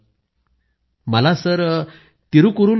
पोन मरियप्पनः मला तिरूकुरूल खूप आवडतं